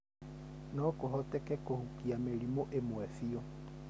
No kũhoteke kũhukia mĩrimũ ĩmwe biũ.